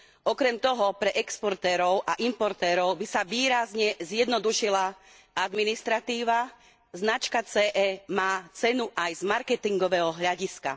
Okrem toho pre exportérov a importérov by sa výrazne zjednodušila administratíva, značka CE má cenu aj z marketingového hľadiska.